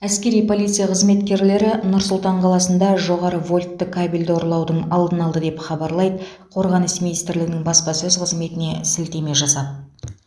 әскери полиция қызметкерлері нұр сұлтан қаласында жоғары вольтты кабельді ұрлаудың алдын алды деп хабарлайды қорғаныс министрлігінің баспасөз қызметіне сілтеме жасап